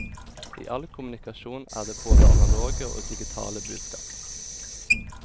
I all kommunikasjon er det både analoge og digitale budskap.